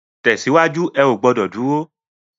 Tèsiwájú, è ó gbòdò dúró